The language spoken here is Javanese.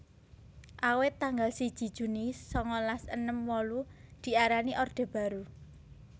Awit tanggal siji Juni sangalas enem wolu diarani Orde Baru